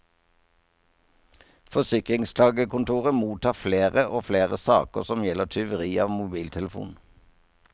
Forsikringsklagekontoret mottar flere og flere saker som gjelder tyveri av mobiltelefon.